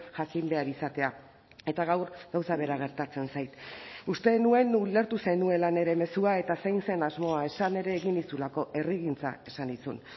jakin behar izatea eta gaur gauza bera gertatzen zait uste nuen ulertu zenuela nire mezua eta zein zen asmoa esan ere egin nizulako herrigintza esan nizun